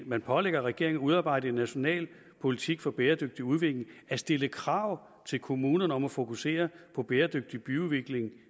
man pålægger regeringen at udarbejde en national politik for bæredygtig udvikling at stille krav til kommunerne om at fokusere på bæredygtig byudvikling